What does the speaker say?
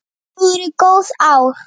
Þetta voru góð ár.